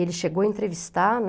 Ele chegou a entrevistar, né?